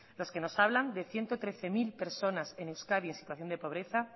los que nos hablan de ciento trece mil personas en euskadi en situación de pobreza